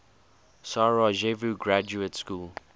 sarajevo graduate school